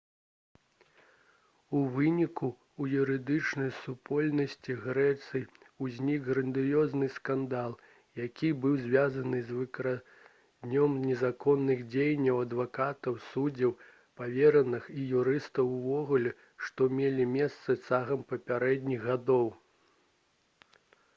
у выніку у юрыдычнай супольнасці грэцыі ўзнік грандыёзны скандал які быў звязаны з выкрыццём незаконных дзеянняў адвакатаў суддзяў павераных і юрыстаў увогуле што мелі месца цягам папярэдніх гадоў